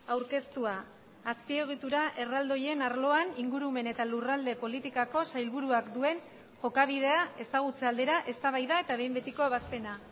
aurkeztua azpiegitura erraldoien arloan ingurumen eta lurralde politikako sailburuak duen jokabidea ezagutze aldera eztabaida eta behin betiko ebazpena